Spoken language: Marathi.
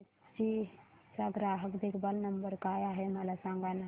हिताची चा ग्राहक देखभाल नंबर काय आहे मला सांगाना